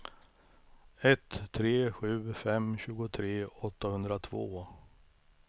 ett tre sju fem tjugotre åttahundratvå